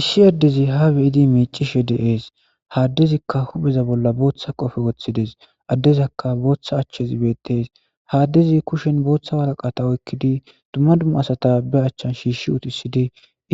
Issi addezi haa be7idi miiccishee de7ees; ha addezikka hupheza bolla booththa kofe wothi des;ha addeza bollaka booththa achchethi beeththees; ha addezi kushiyan booththa woraqatha oykkidi dumma dumma asatha ba achchen shiishshi uthissidi